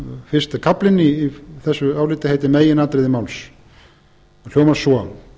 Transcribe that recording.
fyrsti kaflinn í þessu áliti heitir meginatriði máls og hljómar svo